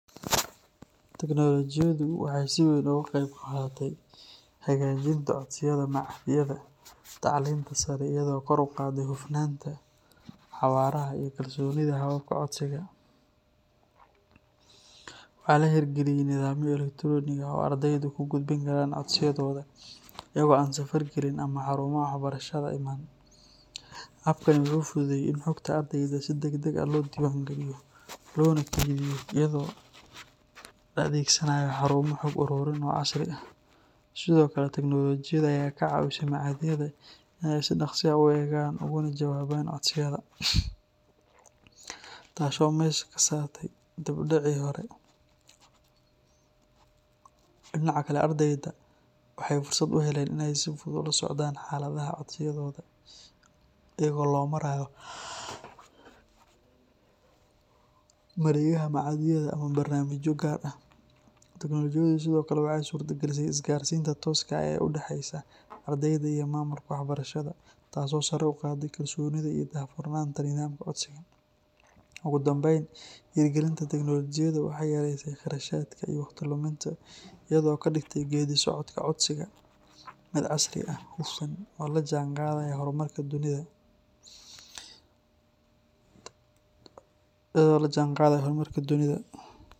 Teknolojiyadu waxay si weyn uga qayb qaadatay hagaajinta codsiyada machadyada tacliinta sare iyadoo kor u qaadday hufnaanta, xawaaraha, iyo kalsoonida hababka codsiga. Waxaa la hirgeliyey nidaamyo elektaroonik ah oo ardaydu ku gudbin karaan codsiyadooda iyaga oo aan safar gelin ama xarumaha waxbarashada iman. Habkani wuxuu fududeeyey in xogta ardayda si degdeg ah loo diiwaangeliyo loona kaydiyo iyadoo la adeegsanayo xarumo xog-ururin oo casri ah. Sidoo kale, teknoolojiyadda ayaa ka caawisay machadyada inay si dhakhso ah u eegaan ugana jawaabaan codsiyada, taasoo meesha ka saartay dib-u-dhacii hore. Dhinaca kale, ardayda waxay fursad u heleen inay si fudud ula socdaan xaaladda codsiyadooda iyadoo loo marayo mareegaha machadyada ama barnaamijyo gaar ah. Teknolojiyaddu sidoo kale waxay suurtagelisay isgaarsiinta tooska ah ee u dhexeysa ardayda iyo maamulka waxbarashada, taas oo sare u qaaday kalsoonida iyo daahfurnaanta nidaamka codsiga. Ugu dambayn, hirgelinta teknoolojiyadda waxay yareysay kharashaadka iyo waqti luminta, iyadoo ka dhigtay geeddi-socodka codsiga mid casri ah, hufan, oo la jaanqaadaya horumarka dunida.